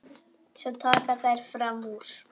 Svo taka þær fram úr.